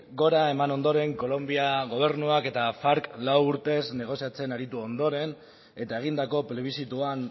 gora eman ondoren kolonbia gobernuak eta farc lau urtez negoziatzen aritu ondoren eta egindako plebizituan